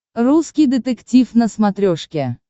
русский детектив на смотрешке